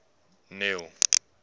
neil